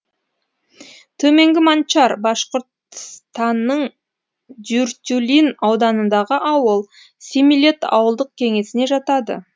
төменгі манчар башқұртстанның дюртюлин ауданындағы ауыл семилет ауылдық кеңесіне жатады